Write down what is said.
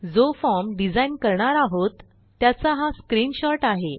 जो form design करणार आहोत त्याचा हा स्क्रीनशॉट आहे